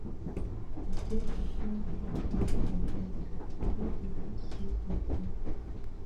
E get di kain dream wey I go get, I no go fit sleep again.